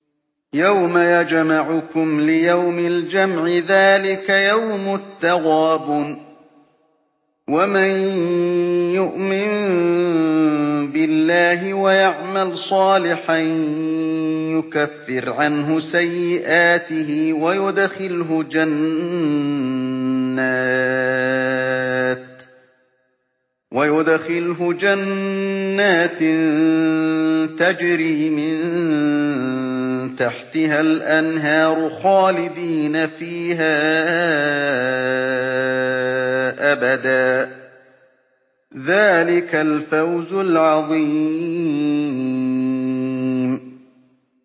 يَوْمَ يَجْمَعُكُمْ لِيَوْمِ الْجَمْعِ ۖ ذَٰلِكَ يَوْمُ التَّغَابُنِ ۗ وَمَن يُؤْمِن بِاللَّهِ وَيَعْمَلْ صَالِحًا يُكَفِّرْ عَنْهُ سَيِّئَاتِهِ وَيُدْخِلْهُ جَنَّاتٍ تَجْرِي مِن تَحْتِهَا الْأَنْهَارُ خَالِدِينَ فِيهَا أَبَدًا ۚ ذَٰلِكَ الْفَوْزُ الْعَظِيمُ